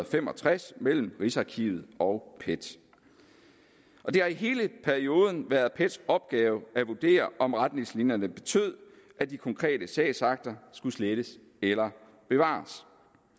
fem og tres mellem rigsarkivet og pet det har i hele perioden været pets opgave at vurdere om retningslinjerne betød at de konkrete sagsakter skulle slettes eller bevares